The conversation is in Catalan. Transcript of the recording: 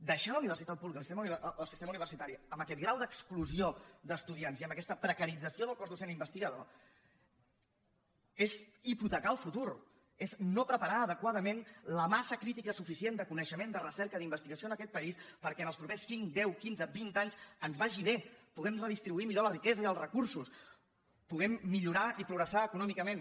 deixar la universitat pública el sistema universitari amb aquest grau d’ex·clusió d’estudiants i amb aquesta precarització del cos docent investigador és hipotecar el futur és no pre·parar adequadament la massa crítica suficient de co·neixement de recerca d’investigació en aquest país perquè en els propers cinc deu quinze vint anys ens vagi bé puguem redistribuir millor la riquesa i els re·cursos puguem millorar i progressar econòmicament